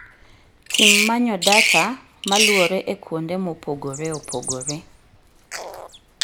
Tim manyo data maluore e kuonde mopogore opogore